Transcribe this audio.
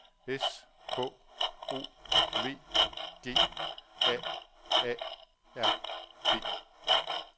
S K O V G A A R D